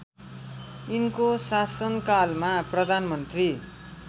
यिनको शासनकालमा प्रधानमन्त्री